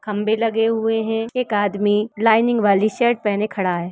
खंभे लगे हुए हैं। एक आदमी लाइनिंग वाली शर्ट पहने खड़ा है।